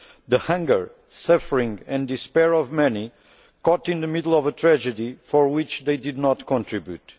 the hunger, suffering and despair of many caught in the middle of a tragedy to which they did not contribute